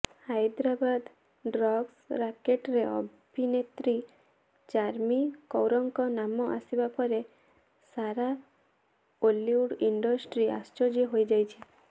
Hyderabad drugs ରାକେଟରେ ଅଭିନେତ୍ରୀ ଚାର୍ମୀ କୌରଙ୍କ ନାମ ଆସିବା ପରେ ସାରା ଟଲିଉଡ୍ ଇଣ୍ଡଷ୍ଟ୍ରି ଆଶ୍ଚର୍ଯ୍ୟ ହୋଇଯାଇଛି